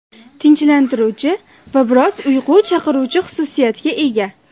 Tinchlantiruvchi va biroz uyqu chaqiruvchi xususiyatga ega.